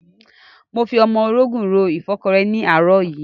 Mo fi ọmọrogùn ro ìfọ́kọrẹ́ ni ní àárọ̀ yìí.